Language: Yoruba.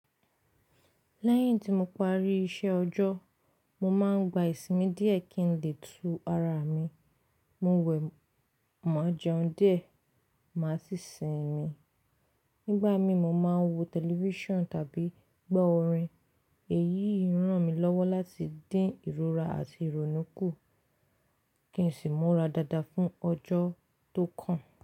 Lẹ́yìn tí mo parí iṣẹ́ ọjọ́, mo máa ń gba ìsinmi díẹ̀ kí n lè tu ara mi, mo wẹ̀, má jẹun díẹ̀, máa sì sinmi. Nígbà mí mo máa ń wo tẹlifíṣàn tàbí gbọ́ orin. Èyí ń ràn mí lọ́wọ́ láti dín ìrora àti ìrònú kù kí n sì mọ́ra dáadáa fún ọjọ́ tó kàn.